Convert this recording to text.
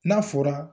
N'a fɔra